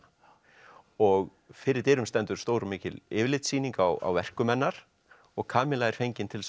og fyrir dyrum stendur stór og mikil yfirlitssýning á verkum hennar og Kamilla er fengin til þess að